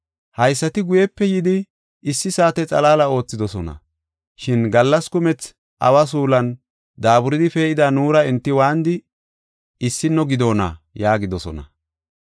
‘Haysati guyepe yidi issi saate xalaala oothidosona. Shin gallas kumethi awa suulan daaburidi pee7ida nuura enti waanidi issino gidoona’ yaagidosona.